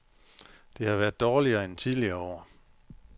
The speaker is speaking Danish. Det har været dårligere end tidligere år.